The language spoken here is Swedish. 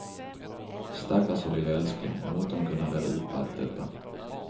Stackars vår lilla älskling, måtte hon kunna reda upp allt detta.